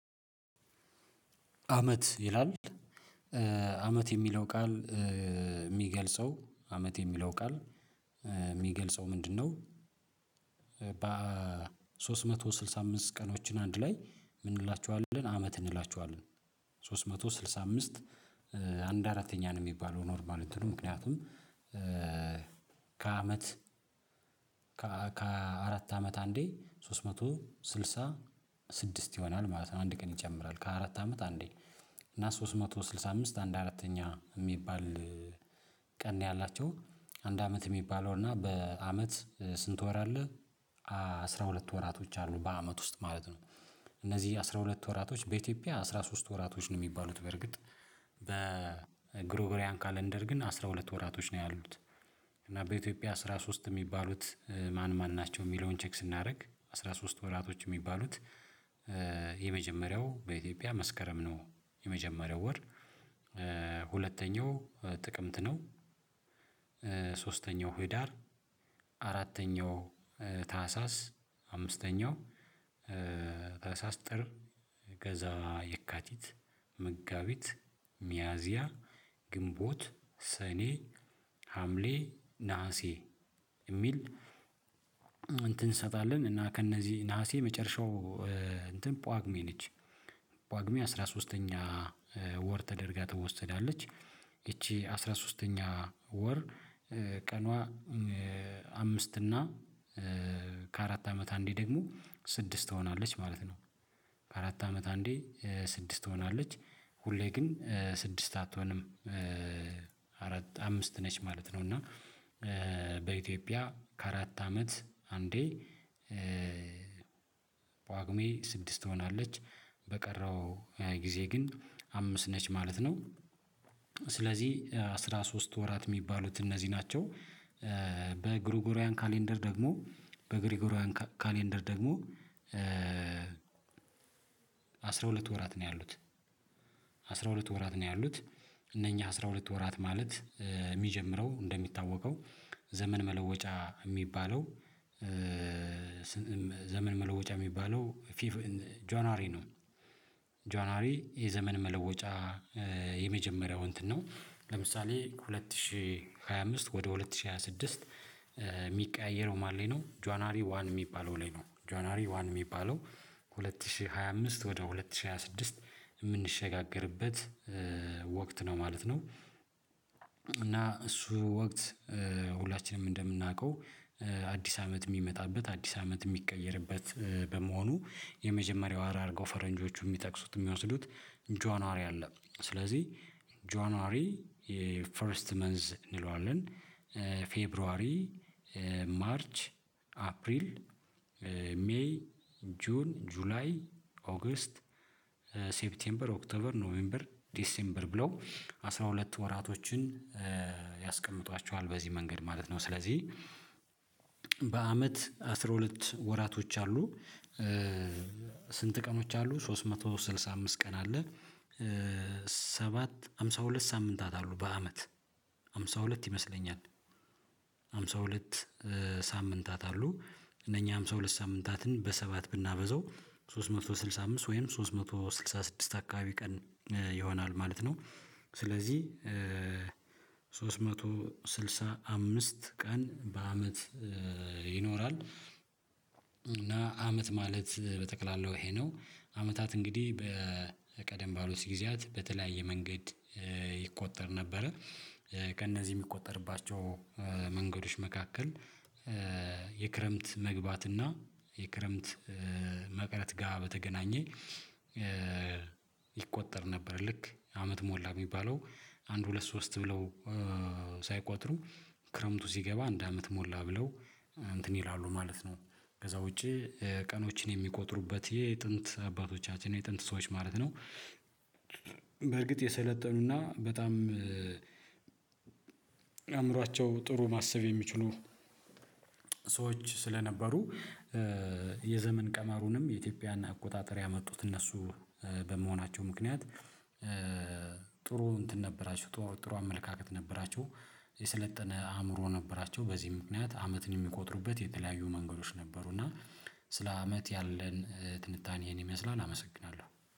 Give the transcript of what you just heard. አመት ይላል አመት የሚለው ቃል የሚገልጸው አመት የሚለው ቃል የሚገልጸው ምንድነው? በሶስት መቶ ስልሳ ቀኖችን አንድ ላይ ምን እንላቸዋለን አመት እንላቸዋለን? ሶስት መቶ ስልሳ አምስት አንድ አራተኛ ነው የሚባለው ኖርማል እንትኑ ምክንያቱም ከአመት ከአራት አመት አንዴ ሶስት መቶ ስልሳ ስድስት ይሆናል ማለት ነው። አንድ ቀን ይጨምራል ከአራት አመት አንዴ እና ሶስት መቶ ስልሳ አምስት አንድ አራተኛ የሚባል ቀን ያላቸው አንድ አመት የሚባለው እና በአመት ስንት ወር አለ አስራ ሁለት ወራቶች አሉ በአመት ውስጥ ማለት ነው። እነዚህ አስራ ሁለት ወራቶች በኢትዮጵያ አስራ ሶስት ወራቶች ነው የሚባሉት በርግጥ በግሮብሪያን ካለንደር ግን አስራ ሁለት ወራቶች ነው ያሉት። እና በኢትዮጵያ አስራ ሶስት የሚባሉት ማን ማን ናቸው? የሚለውን ቼክ ስናደርግ አስራ ሶስት ወራቶች የሚባሉት የመጀመሪያው በኢትዮጵያ መስከረም ነው። የመጀመሪያው ወር ሁለተኛው ጥቅምት ነው። ሶስተኛው ህዳር አራተኛው ታህሳስ አምስተኛው ታህሳስ ጥር ከዛ የካቲት መጋቢት ሚያዚያ ግንቦት ሰኔ ሀምሌ ነሀሴ የሚል። እንሰጣለን እና ከእነዚህ ነሀሴ የመጨረሻው እንትን ጳጉሜ ነች ጳጉሜ አስራ ሶስተኛ ወር ተደርጋ ትወሰዳለች። ይቺ አስራ ሶስተኛ ወር ቀኗ አምስት እና ከአራት አመት አንዴ ደግሞ ስድስት ትሆናለች ማለት ነው። አራት አመት አንዴ ስድስት ሆናለች ሁሌ ግን ስድስት አትሆንም። አራት አምስት ነች ማለት ነው እና በኢትዮጵያ ከአራት አመት አንዴ ጳጉሜ ስድስት ትሆናለች በቀረው ሃያ ጊዜ ግን አምስት ነች ማለት ነው። ስለዚህ አስራ ሶስት ወራት የሚባሉት እነዚህ ናቸው። በግሪጎሪያን ካሌንደር ደግሞ በግሪጎሪያን ካሌንደር ደግሞ አስራ ሁለት ወራት ነው ያሉት አስራ ሁለት ወራት ነው ያሉት እነኚህ አስራ ሁለት ወራት ማለት የሚጀምረው እንደሚታወቀው ዘመን መለወጫ የሚባለው ዘመን መለወጫ የሚባለው ጃንዋሪ ነው። ጃንዋሪ የዘመን መለወጫ የመጀመሪያው እንትን ነው ለምሳሌ ሁለት ሺህ ሃያ አምስት ወደ ሁለት ሺህ ሃያ ስድስት የሚቀያየረው ማሌ ነው ጃንዋሪ ዋን የሚባለው ላይ ነው ጆአጃንዋሪ ዋን የሚባለው ከሁለት ሺህ ሃያ አምስት ወደ ሁለት ሺህ ሃያ ስድስት የምንሸጋገርበት ወቅት ነው ማለት ነው። እና እሱ ወቅት ሁላችንም እንደምናውቀው አዲስ አመት የሚመጣበት አዲስ አመት የሚቀየርበት በመሆኑ የመጀመሪያው አርገው ፈረንጆቹ የሚጠቅሱት የሚወስዱት ጃንዋሪ አለ ስለዚህ ጃንዋሪ ፈርስት መንዝ እንለዋለን። ፌብርዋሪ ማርች አፕሪል ሜይ ጁን ጁላይ ኦገስት ሴፕቴምበር ኦክተበር ኖሜምበር ዲሴምበር ብለው አስራ ሁለት ወራቶችን ያስቀምጧቸዋል በዚህ መንገድ ማለት ነው። ስለዚህ በአመት አስራ ሁለት ወራቶች አሉ። ስንት ቀኖች አሉ ሶስት መቶ ስልሳ አምስት ቀን አለ። ሰባት ሃምሳ ሁለት ሳምንታት አሉ በአመት ሃምሳ ሁለት ይመስለኛል ሃምሳ ሁለት ሳምንታት አሉ እነኛ ሃምሳ ሁለት ሳምንታትን በሰባት ብናበዛው ሶስት መቶ ስልሳ አምስት ወይም ሶስት መቶ ስልሳ ስድስት አካባቢ ቀን ይሆናል ማለት ነው። ስለዚህ ሶስት መቶ ስልሳ አምስት ቀን በአመት ይኖራል እና አመት ማለት በጠቅላላው ይሄ ነው አመታት እንግዲህ በቀደም ባሉት ጊዜያት በተለያየ መንገድ ይቆጠር ነበረ። ከእነዚህ የሚቆጠርባቸው መንገዶች መካከል የክረምት መግባት እና የክረምት መቅረት ጋር በተገናኘ ይቆጠር ነበር ልክ አመት ሞላ የሚባለው አንድ ሁለት ሶስት ብለው ሳይቆጥሩ ክረምቱ ሲገባ አንድ አመት ሞላ ብለው እንትን ይላሉ ማለት ነው። ከዛ ውጪ ቀኖችን የሚቆጥሩበት የጥንት አባቶቻችን የጥንት ሰዎች ማለት ነው። በርግጥ የሰለጠኑና በጣም አእምሯቸው ጥሩ ማሰብ የሚችሉ ሰዎች ስለነበሩ የዘመን ቀመሩንም የኢትዮጵያና አቆጣጠር ያመጡት እነሱ በመሆናቸው ምክንያት ጥሩ እንትን ነበራቸው ጥሩ አመለካከት ነበራችሁ የሰለጠነ አእምሮ ነበራቸውበዚህ ምክንያት አመትን የሚቆጥሩበት የተለያዩ መንገዶች ነበሩ። እና ስለ አመት ያለን ትንታኔ ይሄን ይመስላል አመሰግናለሁ።